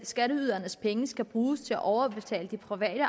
skatteydernes penge skal bruges til at overbetale de private